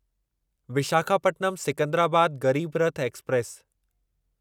Visakhapatnam Secunderabad Garib Rath express